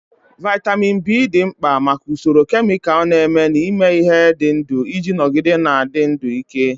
Vitamin B dị mkpa maka usoro kemịkalụ na-eme n'ime ihe dị ndụ iji nọgide na-adị ndụ ike.